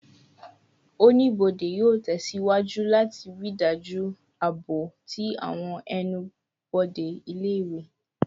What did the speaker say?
Onibode yoo tẹsiwaju lati rii daju aabo ti awọn ẹnu-bode ile-iwe